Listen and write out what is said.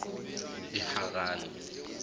eharani